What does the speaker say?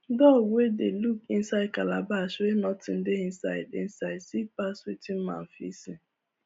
dog wey dey look inside calabash wey nothing dey inside inside see pass wetin man fit see